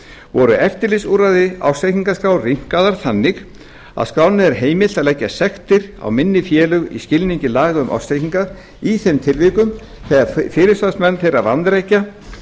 voru eftirlitsúrræði ársreikningaskrár rýmkaðar þannig að skránni var heimilað að leggja sektir á minni félög í skilningi laga um ársreikninga í þeim tilvikum þegar fyrirsvarsmenn þeirra vanrækja